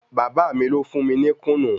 Bàba mí lo fún mí ní kùnǹú.